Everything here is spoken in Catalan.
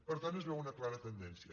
per tant es veu una clara tendència